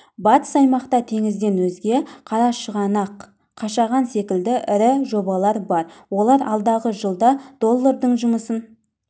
батыс аймақта теңізден өзге қарашығанақ қашаған секілді ірі жобалар бар олар алдағы жылда доллардың жұмысын